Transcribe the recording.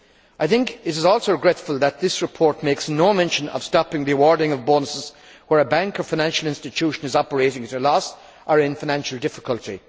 I think it is also regrettable that this report makes no mention of stopping the awarding of bonuses where a bank or financial institution is operating at a loss or is in financial difficulty.